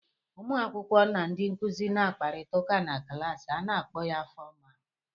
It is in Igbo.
Ụmụ akwụkwọ na ndị nkụzi na akparịta ụka na klaasị a kpọọ ya fọmal.